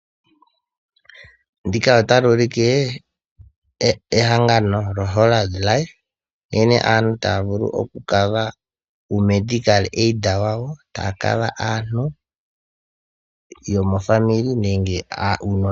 Ndika otali ulike ehangano lyoHollard nkene aantu taya vulu okutulamo aantu yomofamili nenge aakwanezimo yawo opo uuna yahulitha taya vulu okupewa oshimaliwa shontumba.